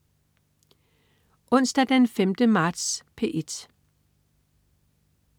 Onsdag den 5. marts - P1: